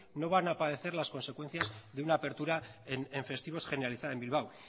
no van a padecer las consecuencias de una apertura en festivos generalizada en bilbao